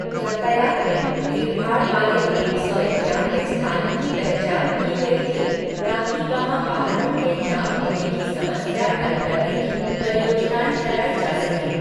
यातायात में भीड़ भाड़ वाले एक सौ इक्यानबे स्थानों की पहचान की गई थी, ताकि वहाँ वाहनों के जाम होने की समस्या हल करने की परियोजनाएँ चलाई जा सकें।